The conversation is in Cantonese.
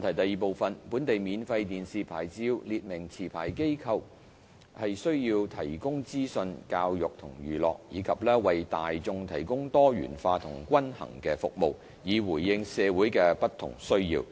二本地免費電視牌照列明持牌機構須提供資訊、教育及娛樂，以及為大眾提供多元化及均衡的服務，以回應社會的不同需要。